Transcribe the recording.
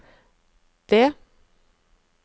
det